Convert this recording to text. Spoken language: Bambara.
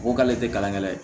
Ko k'ale tɛ kalan kɛ la ye